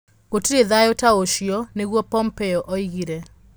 Gũtirĩ thayũ ta ũcio", nĩguo Pompeo oigire.